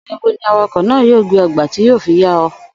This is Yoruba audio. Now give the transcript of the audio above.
Ò̩nà̩ ibo ni awakò̩ náà yóò gbé o̩ gba tí yóò fi yá o̩?